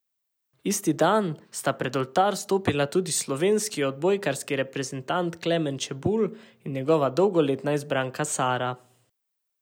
Isti dan sta pred oltar stopila tudi slovenski odbojkarski reprezentant Klemen Čebulj in njegova dolgoletna izbranka Sara.